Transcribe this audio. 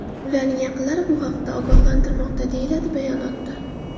Ularning yaqinlarini bu haqda ogohlantirilmoqda”, deyiladi bayonotda.